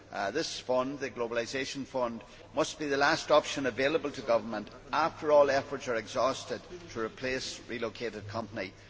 This Fund the European Globalisation Adjustment Fund must be the last option available to governments after all efforts are exhausted to replace relocated companies.